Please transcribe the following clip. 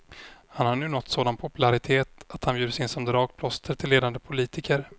Han har nu nått sådan popularitet att han bjuds in som dragplåster till ledande politiker.